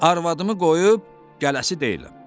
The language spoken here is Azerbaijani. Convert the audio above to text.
Arvadımı qoyub gələsi deyiləm.